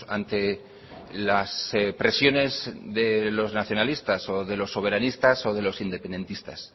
ante las presiones de los nacionalistas o de los soberanistas o de los independentistas